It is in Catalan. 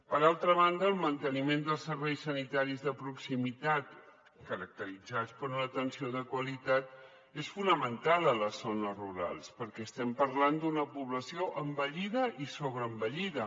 per altra banda el manteniment dels serveis sanitaris de proximitat caracteritzats per una atenció de qualitat és fonamental a les zones rurals perquè estem parlant d’una població envellida i sobreenvellida